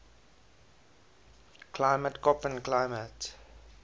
climate koppen climate